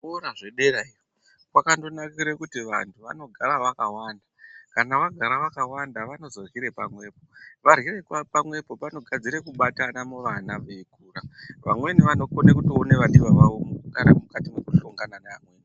Kora zvedera iyo kwakandonakire kuti vantu vanogara vakawanda kana vagara vakawanda vanozoryire pamwepo varyire pamwepo panogadzire kubatana muvana veikura vamweni vanokone kutoone vadiwa vawo mukugara kwakati nekuhlongana naamweni